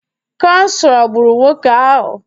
Kansa gburu nwoke ahụ